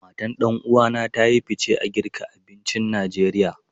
Matan ɗan uwa na ta yi fice a girka abincin Najeriya.